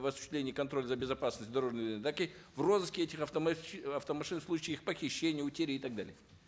в осуществлении контроля за безопасностью дорожного так и в розыске этих автомашин в случае их похищения утери и так далее